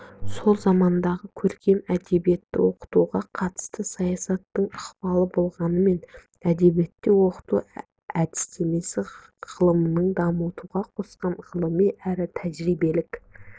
сол замандағы көркем әдебиетті оқытуға қатысты саясаттың ықпалы болғанымен әдебиетті оқыту әдістемесі ғылымының дамытуға қосқан ғылыми әрі тәжірибелік